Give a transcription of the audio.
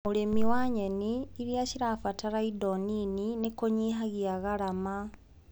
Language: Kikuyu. ũrĩmi wa nyeni iria cirabatara indo nini nĩkũnyihagia garama.